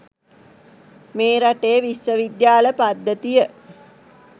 මේ රටේ විශ්ව විද්‍යාල පද්ධතිය